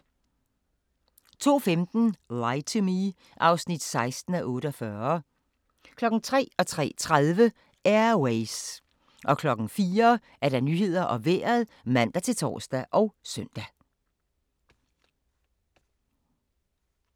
02:15: Lie to Me (16:48) 03:00: Air Ways 03:30: Air Ways 04:00: Nyhederne og Vejret (man-tor og søn)